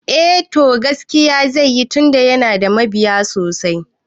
Eh to, gaskiya zai yi tunda yana da mabiya sosai